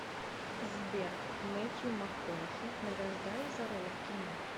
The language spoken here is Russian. сбер мэттью макконахи награждали за роли в кино